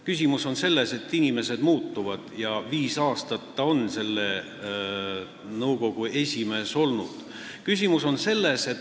Küsimus on selles, et inimesed muutuvad ja Laar on viis aastat selle nõukogu esimees olnud.